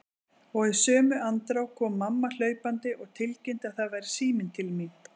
Og í sömu andrá kom mamma hlaupandi og tilkynnti að það væri síminn til mín.